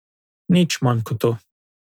Nič manj kot to.